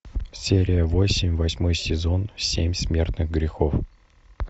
серия восемь восьмой сезон семь смертных грехов